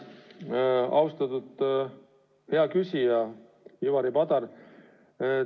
Aitäh, austatud hea küsija Ivari Padar!